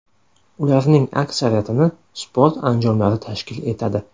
Ularning aksariyatini sport anjomlari tashkil etadi.